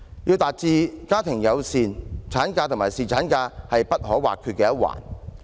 要達致家庭友善，產假與侍產假都不可或缺。